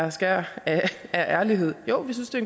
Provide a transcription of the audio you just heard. et skær ærlighed jo vi synes det